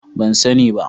Ban sani ba.